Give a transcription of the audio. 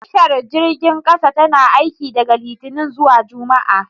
Tashar jirgin kasa tana aiki daga Litinin zuwa Juma'a